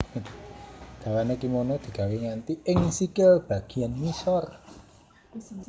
Dawané kimono digawé nganti ing sikil bagéyan ngisor